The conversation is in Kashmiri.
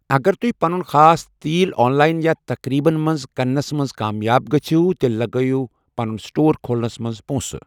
اگر تُہۍ پنُن خاص تیٖل آن لائن یا تقریبن منٛز کٕننَس منٛز کامیاب گٔسِو، تیٛلہِ لَگٲۍ یِو پنُن سٹور کھۄلنَس منٛز پوٚنٛسہٕ۔